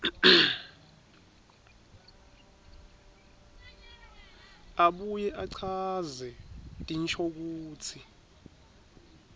abuye achaze tinshokutsi